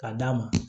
Ka d'a ma